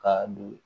Ka don